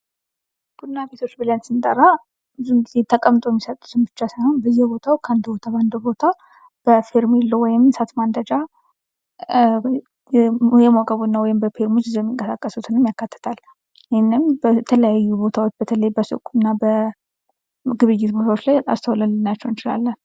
ቡና ቤቶች ብለን ስንጠራ ብዙን ጊዜ ተቀምጠው የሚሰጡትን ብቻ ሳይሆን በየቦታው ከአንድ ቦታ አንድ ቦታ በፌርሜሎ ወይም እሳት ማንደጃ የሞቀ ቡና ወይም በፊርሙዝ ይዘው የሚንቀሳቀሱትንም ያካትታል ። ይህንንም በተለያዩ ቦታዎች በተለይ በሱቅ እና በግብይት ቦታዎች ላይ አስተውለን ልናያቸው እንችላለን ።